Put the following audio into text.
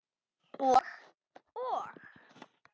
Og, og.